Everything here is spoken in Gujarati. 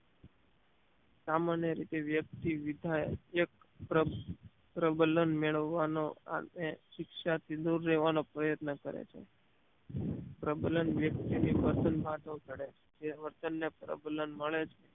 સામાન્ય રીતે વ્યક્તિ વિધાયક એક પ્રબ પ્રબલન મેળવવાનો અને શિક્ષા થી દુર રેવાનો પ્રયત્ન કરે છે પ્રબલન વ્યક્તિ ની પસંદ માનવ ઘડે છે જે વર્તન ને પ્રબલન મળે છે